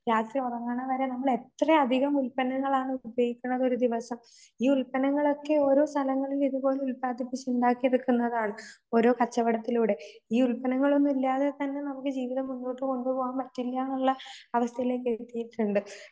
രാത്രി ഉറങ്ങണവരെ എത്രയധികം ഉൽപന്നങ്ങളാണ് ഉപയോഗിക്കണതൊരുദിവസം. ഈ ഉൽപ്പന്നങ്ങളൊക്കെ ഈ ഉൽപ്പന്നങ്ങളൊക്കെ ഓരോ സ്ഥലങ്ങളിൽ ഇതുപോലെ ഉൽപാദിപ്പിച്ചുണ്ടാക്കി എടുക്കുന്നതാണ് ഓരോ കച്ചവടത്തിലൂടെ ഈ ഉൽപ്പന്നങ്ങളൊന്നൂല്ലാതെതന്നെ നമുക്ക് ജീവിതം മുമ്പോട്ട് കൊണ്ടുപോകാൻ പറ്റില്ലാന്നുള്ള അവസ്ഥയിലേക്കെത്തീട്ടുണ്ട്.